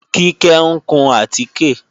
Kíkẹ́ ń kun àtíkè